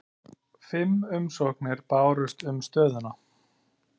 Fimm umsóknir bárust um stöðuna